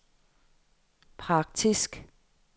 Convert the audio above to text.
praktisk